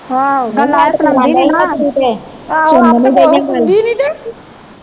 ਆਹੋ ਗੱਲਾਂ ਇਹ ਸੁਣਾਉਂਦੀ ਨਹੀਂ ਨਾ